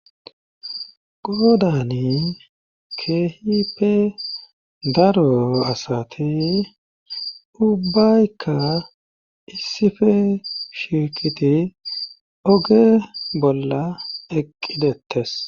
godani kehipe daro asati ubbaykka issife shirkiti oge bolla eqqi dettes